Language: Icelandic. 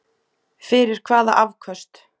Fyrir hvaða afköst?